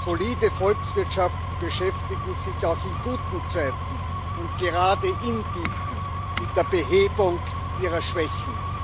Solide Volkswirtschaften beschäftigen sich auch in guten Zeiten und gerade in diesen mit der Behebung ihrer Schwächen.